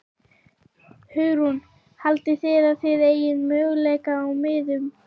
Hugrún: Haldið þið að þið eigið möguleika á miðum?